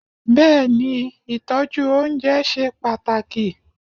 Bẹ́ẹ̀ni, Ìtọ́jú oúnjẹ ṣe pàtàkì.